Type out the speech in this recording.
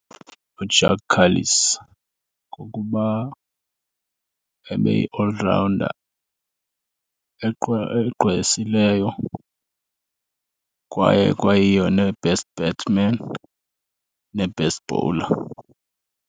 uJaques Kallis ngokuba ebeyi-all rounder egqwesileyo kwaye ekwayiyo ne-best batsman ne-best bowler.